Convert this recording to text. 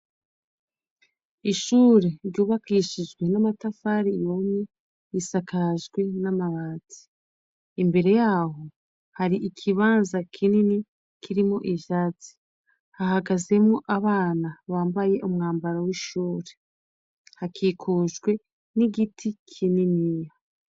Ishure ryubakishijwe n'amatafari yomwe yisakajwe n'amabasi imbere yaho hari ikibanza kinini kirimo ivyatsi hahagazemo abana bambaye umwambaro w'ishuri hakikujwe n'igiti kinini.